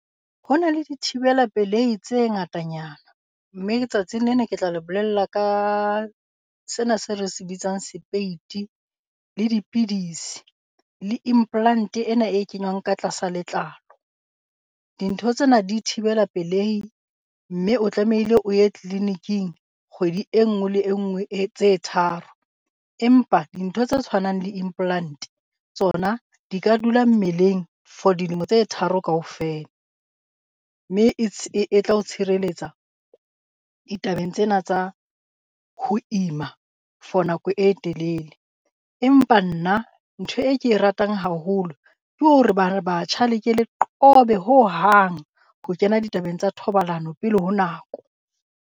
Ho na le dithibela pelehi tse ngatanyana. Mme ke tsatsing lena ke tla le bolella ka sena se re se bitsang sepeiti, le dipidisi, le implant ena e kenywang ka tlasa letlalo. Dintho tsena di thibela pelehi mme o tlamehile o ye tleleniking kgwedi e nngwe le e nngwe tse tharo, empa dintho tse tshwanang le implant tsona di ka dula mmeleng for dilemo tse tharo kaofela. Mme e tla o tshireletsa ditabeng tsena tsa ho ima for nako e telele. Empa nna ntho e ke e ratang haholo ke hore ba batjha le ke le qobe hohang ho kena ditabeng tsa thobalano pele ho nako.